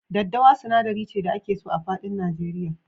Daddawa sinadari ce da ake so a faɗin Nigeria.